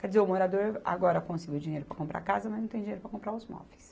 Quer dizer, o morador agora conseguiu dinheiro para comprar a casa, mas não tem dinheiro para comprar os móveis.